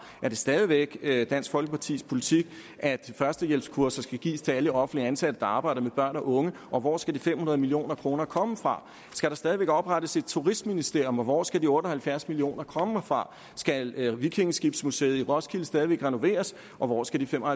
er det stadig væk dansk folkepartis politik at førstehjælpskurser skal gives til alle offentligt ansatte der arbejder med børn og unge og hvor skal de fem hundrede million kroner komme fra skal der stadig væk oprettes et turistministerium og hvor skal de otte og halvfjerds million kroner komme fra skal vikingeskibsmuseet i roskilde stadig væk renoveres og hvor skal de fem og